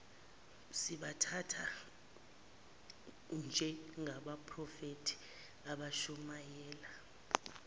sibathathe njengabaphrofethi abashumayela